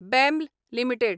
bell limited